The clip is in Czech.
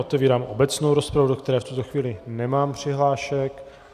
Otevírám obecnou rozpravu, do které v tuto chvíli nemám přihlášek.